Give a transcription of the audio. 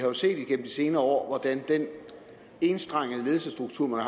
senere år hvordan den enstrengede ledelsesstruktur man